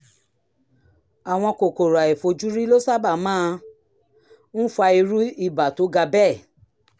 àwọn kòkòrò àìfojúrí ló sábà máa ń fa irú ibà tó ga bẹ́ẹ̀